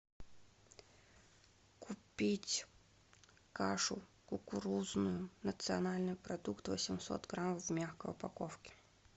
купить кашу кукурузную национальный продукт восемьсот грамм в мягкой упаковке